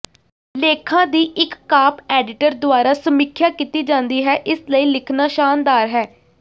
ਲੇਖਾਂ ਦੀ ਇੱਕ ਕਾਪ ਐਡੀਟਰ ਦੁਆਰਾ ਸਮੀਖਿਆ ਕੀਤੀ ਜਾਂਦੀ ਹੈ ਇਸ ਲਈ ਲਿਖਣਾ ਸ਼ਾਨਦਾਰ ਹੈ